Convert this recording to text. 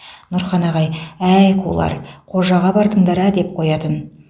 нұрхан ағай әй қулар қожаға бардыңдар ә деп қоятын